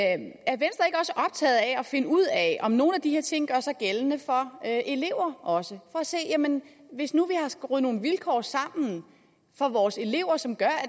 at finde ud af om nogle af de her ting gør sig gældende for elever også hvis nu vi har skruet nogle vilkår sammen for vores elever som gør at